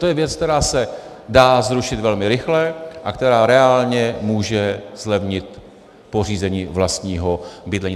To je věc, která se dá zrušit velmi rychle a která reálně může zlevnit pořízení vlastního bydlení.